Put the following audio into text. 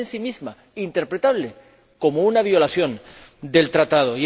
Es, en sí misma, interpretable como una violación del mismo.